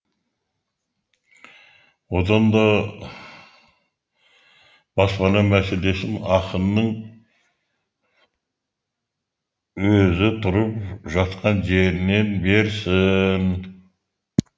одан да баспана мәселесін ақынның өзі тұрып жатқан жерінен берсін